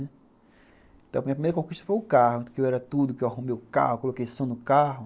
Então a minha primeira conquista foi o carro, que eu era tudo, que eu arrumei o carro, coloquei som no carro.